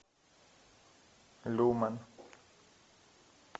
люмен